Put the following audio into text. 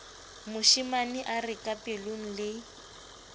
moshemane a re kapelong le